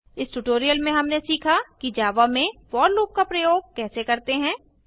इस ट्यूटोरियल में हमने सीखा कि जावा में फोर लूप का प्रयोग कैसे करते हैं